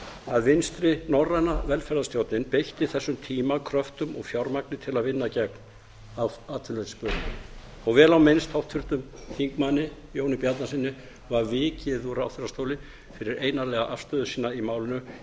að vinstri norræna velferðarstjórnin beitti þessum tíma kröftum og fjármagni til að vinna gegn atvinnuleysisbölinu og vel á minnst háttvirtum þingmanni jóni bjarnasyni var vikið úr ráðherrastóli fyrir einarðlega afstöðu sína í málinu